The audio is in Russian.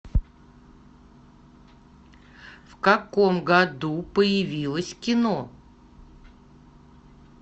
в каком году появилось кино